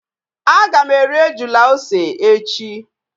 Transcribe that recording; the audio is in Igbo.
Aga m eri ejula ose echi